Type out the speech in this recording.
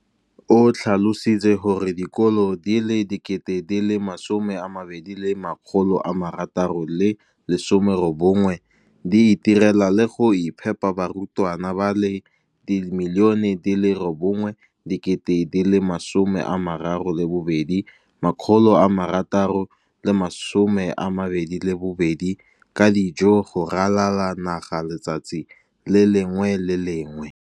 o tlhalositse gore dikolo di le 20 619 di itirela le go iphepela barutwana ba le 9 032 622 ka dijo go ralala naga letsatsi le lengwe le le lengwe.